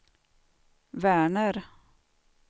Verner